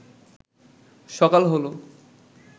সকাল হল